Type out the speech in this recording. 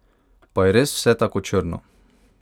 Pa je res vse tako črno?